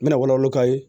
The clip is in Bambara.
N bɛna wala wolo k'a ye